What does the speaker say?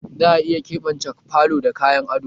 Za a iya keɓance falo da kayan ado?